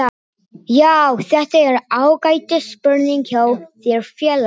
Já þetta er ágætis spurning hjá þér félagi.